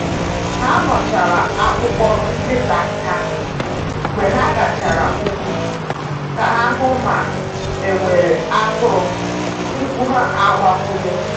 Ha nyochara akpụkpọ nkịta ha mgbe ha gachara ugwu ka ha hụ ma e nwere akọrọ tupu ha agbakwunye.